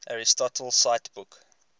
aristotle cite book